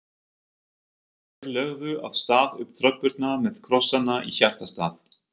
Þeir lögðu af stað upp tröppurnar með krossana í hjartastað.